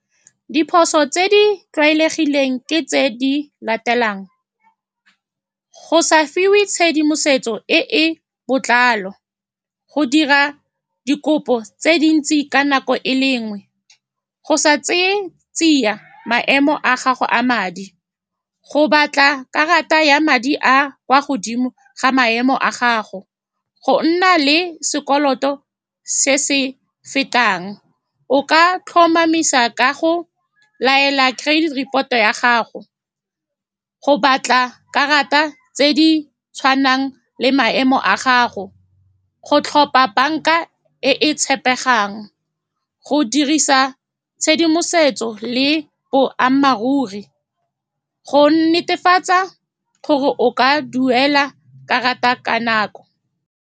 Diphoso tse di tlwaelegileng ke tse di latelang, go sa fiwe tshedimosetso e e botlalo, go dira dikopo tse dintsi ka nako e le nngwe, go sa tseye tsia maemo a gago a madi, go batla karata ya madi a a kwa godimo ga maemo a gago, go nna le sekoloto se se fetang. O ka tlhomamisa ka go laela credit report-o ya gago, go batla karata tse di tshwanang le maemo a gago, go tlhopha banka e e tshepegang, le go dirisa tshedimosetso le boammaaruri go netefatsa gore o ka duela karata ka nako.